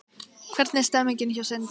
Hvernig er stemningin hjá Sindra?